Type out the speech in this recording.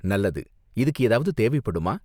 நல்லது! இதுக்கு ஏதாவது தேவைப்படுமா?